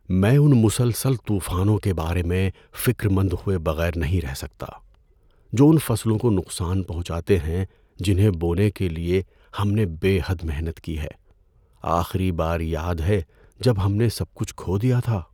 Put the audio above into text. میں ان مسلسل طوفانوں کے بارے میں فکرمند ہوئے بغیر نہیں رہ سکتا جو ان فصلوں کو نقصان پہنچاتے ہیں جنہیں بونے کے لیے ہم نے بے حد محنت کی ہے۔ آخری بار یاد ہے جب ہم نے سب کچھ کھو دیا تھا؟